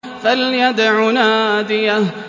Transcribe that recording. فَلْيَدْعُ نَادِيَهُ